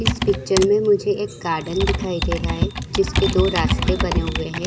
इस पिक्चर में मुझे एक गार्डन दिखाई दे रहा है जिसके दो रास्ते बने हुए है ।